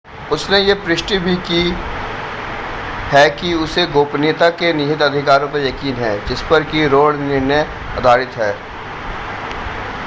उसने यह पुष्टि भी की है कि उसे गोपनीयता के निहित अधिकारों पर यकीन है जिस पर कि रो निर्णय आधारित है